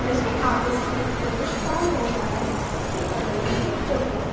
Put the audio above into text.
जिसके आगे से एक पुरुष पार हो रहा है और उसके बगल में एक टोटो ए --